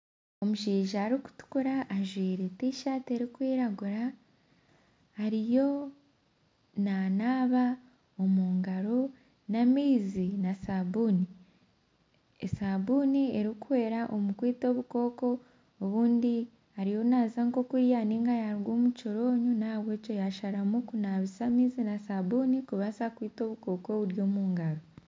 Omushaija arikutukura ajwire tishati erikwiragura ariyo nanaaba omu ngaro n'amaizi na sabuuni. Esabuuni erikuhwera omu kwita obukooko obundi ariyo naza nka okurya ninga yaaruga omukihoronyo nahabwekyo yasharamu kunaabisa amaizi n'asabuuni kubaasa kwita obukooko oburi omungaro.